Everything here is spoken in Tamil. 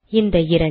இந்த இரண்டு